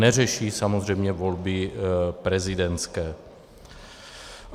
Neřeší samozřejmě volby prezidentské.